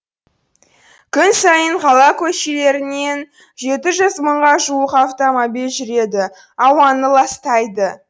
күн сайын қала көшелерінен жеті жүз мыңға жуық автомобиль жүреді ауаны ластайды